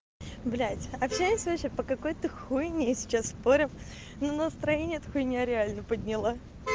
блядь общаюсь вообще по какой-то хуйне сейчас спорим ну настроение эта хуйня реально подняла